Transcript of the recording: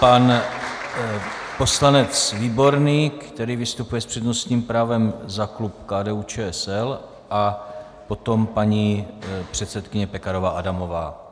Pan poslanec Výborný, který vystupuje s přednostním právem za klub KDU-ČSL, a potom paní předsedkyně Pekarová Adamová.